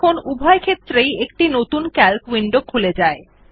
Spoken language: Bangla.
দেখুন উভয় ক্ষেত্রেই একটি নতুন সিএএলসি উইন্ডো খুলে যায়